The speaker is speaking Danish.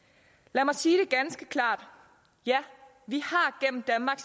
lad mig sige det ganske klart ja vi